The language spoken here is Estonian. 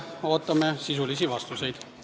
Ootame sisulisi vastuseid.